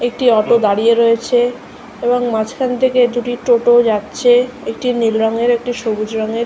একটি অটো দাঁড়িয়ে রয়েছে এবং মাঝখান থেকে দুটি টোটো যাচ্ছেএকটি নীল রংয়ের একটি সবুজ রংয়ের।